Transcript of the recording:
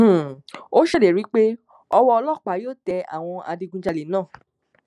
um ó ṣèlérí pé ọwọ ọlọpàá yóò tẹ àwọn adigunjalè náà